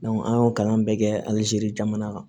an y'o kalan bɛɛ kɛ alizeri jamana kan